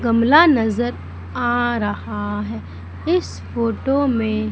गमला नजर आ रहा है इस फोटो में।